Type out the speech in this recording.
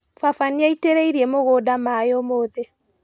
Baba nĩaitĩrĩirie mũgunda maĩ ũmũthĩ.